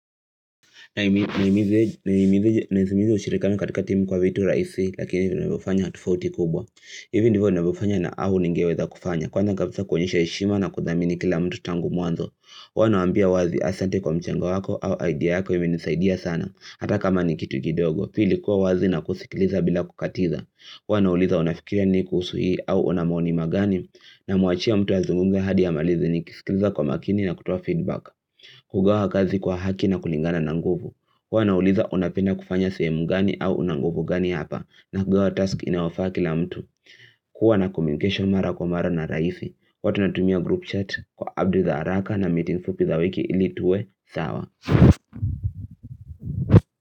Na imiza ushirikiano katika timu kwa vitu raisi lakini vinavyofanya tofauti kubwa Hivyo ndivyo navyofanya na au ningeweza kufanya Kwanza kapisa kuonyesha eshima na kudhamini kila mtu tangu mwanzo huwa nawambia wazi asante kwa mchango wako au idea yako imenisaidia sana Hata kama ni kitu gidogo pili kuwa wazi na kusikiliza bila kukatiza huwa na uliza unafikirani kuhusu hii au wana maoni magani na muachia mtu azungumze hadi amalize ni kisikiliza kwa makini na kutoa feedback kugawa kazi kwa haki na kulingana na nguvu huwa nauliza unapenda kufanya sehemu gani au unanguvu gani hapa na kugawa task inayowafaa ki la mtu kuwa na communication mara kwa mara na raifi huwa tunatumia group chat kwa audio za haraka na meeting fupi za wiki ili tuwe sawa.